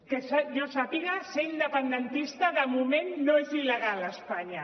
que jo sàpiga ser independentista de moment no és il·legal a espanya